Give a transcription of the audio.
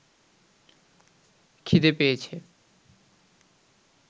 খিদে পেয়েছে